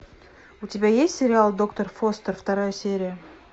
у тебя есть сериал доктор фостер вторая серия